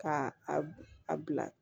Ka a bila